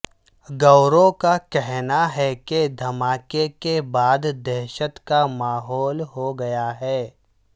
گورو کا کہنا ہے کہ دھماکے کےبعد دہشت کا ماحول ہوگیا ہے